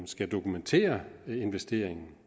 skal dokumentere investeringen